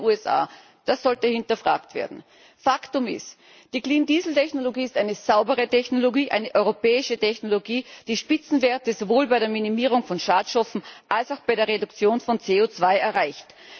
Warum in den USA? Das sollte hinterfragt werden. Faktum ist Die Clean Diesel Technologie ist eine saubere Technologie, eine europäische Technologie, die Spitzenwerte sowohl bei der Minimierung von Schadstoffen als auch bei der Reduktion von CO2 erreicht.